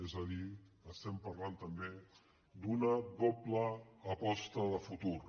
és a dir estem parlant també d’una doble aposta de futur